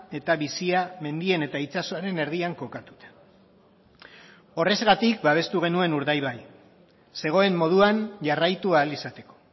eta bizia mendien eta itsasoaren erdian kokatuta horrexegatik babestu genuen urdaibai zegoen moduan jarraitu ahal izateko